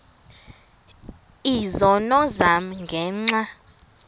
izono zam ngenxa